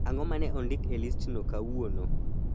Ang'o ma ne ondik e listno kauono?